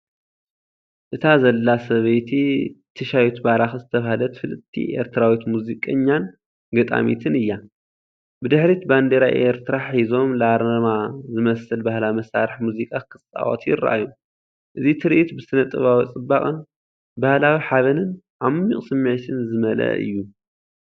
እታ ዘላ ሰበይቲ ትሻይቱ ባራኪ ዝተባህለት ፍልጥቲ ኤርትራዊት ሙዚቀኛን ገጣሚትን እያ። ብድሕሪት ባንዴራ ኤርትራ ሒዞም፡ ላርማ ዝመስል ባህላዊ መሳርሒ ሙዚቃ ክጻወቱ ይረኣዩ። እዚ ትርኢት ብስነ-ጥበባዊ ጽባቐ፡ ባህላዊ ሓበንን ዓሚቝ ስምዒትን ዝመልአ እዩ።